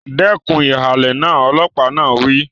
Dẹ́kun ìhàlẹ̀ náà! Ọlọ́pàá náà wí.